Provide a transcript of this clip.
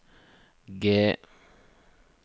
G